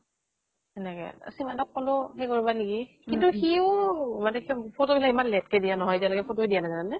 সেনেকে, সিমন্ত ক কলো , সেই কৰিবা নেকি ? কিন্তু সিও মানে কি ,photo বিলাক ইমান late কে দিয়ে নহয় । এতিয়া লৈকে photo বিলাক দিয়ায়ে নাই জানানে ?